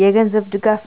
የገንዘብ ድጋፍ: